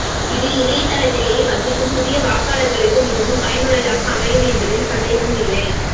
இது இணையதளத்திலேயே வசிக்கும் புதிய வாக்காளர்களுக்கு மிகவும் பயனுள்ளதாக அமையும் என்பதில் சந்தேகம் இல்லை